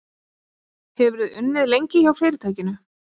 Hefurðu unnið lengi hjá fyrirtækinu?